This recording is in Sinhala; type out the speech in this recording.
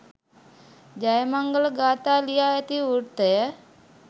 ජයමංගල ගාථා ලියා ඇති වෘත්තය